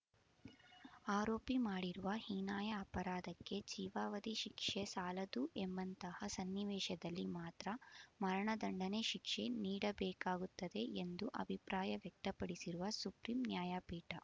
ಆರೋಪಿ ಮಾಡಿರುವ ಹೀನಾಯ ಅಪರಾಧಕ್ಕೆ ಜೀವಾವಧಿ ಶಿಕ್ಷೆ ಸಾಲದು ಎಂಬಂತಹ ಸನ್ನಿವೇಶದಲ್ಲಿ ಮಾತ್ರ ಮರಣ ದಂಡನೆ ಶಿಕ್ಷೆ ನೀಡಬೇಕಾಗುತ್ತದೆ ಎಂದು ಅಭಿಪ್ರಾಯ ವ್ಯಕ್ತಪಡಿಸಿರುವ ಸುಪ್ರೀಂ ನ್ಯಾಯಪೀಠ